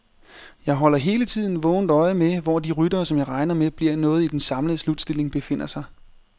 Jeg holder hele tiden vågent øje med, hvor de ryttere, som jeg regner med bliver noget i den samlede slutstilling, befinder sig.